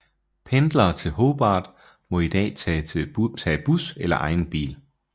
Pendlere til Hobart må i dag må tage bus eller egen bil